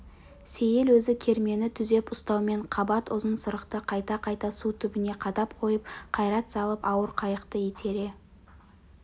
сейіл өзі кермені түзеп ұстаумен қабат ұзын сырықты қайта-қайта су түбіне қадап қойып қайрат салып ауыр қайықты итере